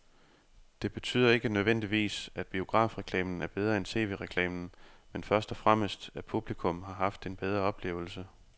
Det betyder ikke nødvendigvis, at biografreklamen er bedre end tv-reklamen, men først og fremmest at publikum har haft en bedre oplevelse.